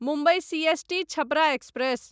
Mumbai CST Chhapra express